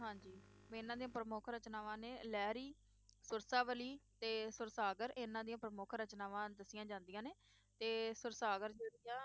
ਮੈ ਇਹਨਾਂ ਦੀਆਂ ਪ੍ਰਮੁੱਖ ਰਚਨਾਵਾਂ ਨੇ ਲਹਿਰੀ, ਸੁਰਸਾਵਲੀ, ਤੇ ਸੁਰਸਾਗਰ ਇਹਨਾਂ ਦੀਆਂ ਪ੍ਰਮੁੱਖ ਰਚਨਾਵਾਂ ਦੱਸੀਆਂ ਜਾਂਦੀਆਂ ਨੇ ਤੇ ਸੁਰਸਾਗਰ ਜਿਹੜੀ ਆ